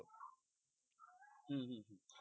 হম হম হম